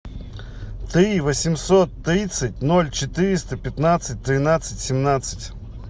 три восемьсот тридцать ноль четыреста пятнадцать тринадцать семнадцать